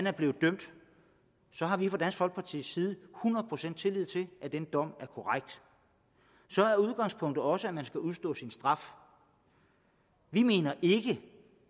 er blevet dømt så har vi fra dansk folkepartis side hundrede procent tillid til at den dom er korrekt så er udgangspunktet også at man skal udstå sin straf vi mener ikke